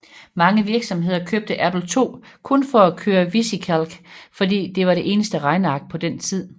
Mange virksomheder købte Apple II kun for at køre VisiCalc fordi det var det eneste regneark på den tid